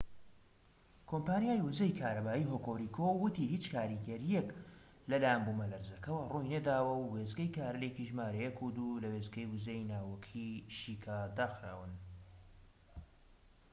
کۆمپانیای وزەی کارەبایی هۆکوریکو وتی هیچ کاریگەریەک لەلایەن بومەلەرزەکەوە ڕووی نەداوە و وێستگەی کارلێکی ژمارە ١ و ٢ لە وێستگەی وزەی ناوەکیی شیکا داخراون